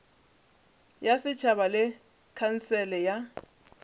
ya setšhaba le khansele ya